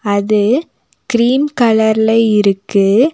அது கிரீம் கலர்ல இருக்கு.